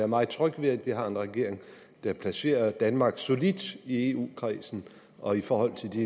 meget tryg ved at vi har en regering der placerer danmark solidt i eu kredsen og i forhold til de